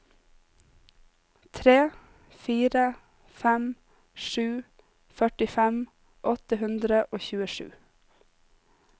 tre fire fem sju førtifem åtte hundre og tjuesju